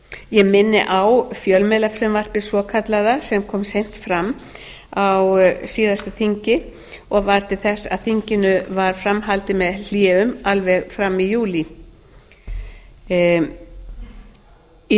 ég minni á fjölmiðlafrumvarpið svokallaða sem kom seint fram á síðasta þingi og varð til þess að þinginu varð fram haldið með hléum alveg fram í júlí í